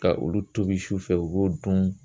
Ka olu tobi su fɛ, u b'o dun